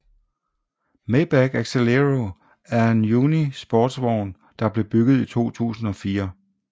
Maybach Exelero er en uni sportsvogn der blev bygget i 2004